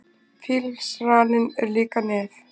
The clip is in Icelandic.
fílsraninn er líka nef